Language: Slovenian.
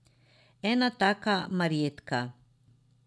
Ena taka Marjetka.